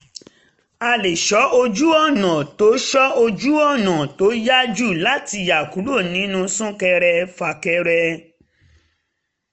àle sọ ojú-ọ̀nà tó sọ ojú-ọ̀nà tó yá jù láti yára kúrò nínú sún-kẹrẹ-fà-kẹrẹ